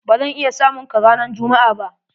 Ba zan iya samun ka ranan jummu'a ba.